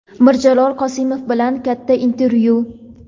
Mirjalol Qosimov bilan katta intervyu.